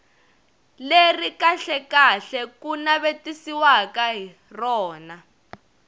leri kahlekahle ku navetisiwaka rona